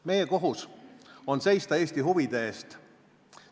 " Meie kohus on seista Eesti huvide eest.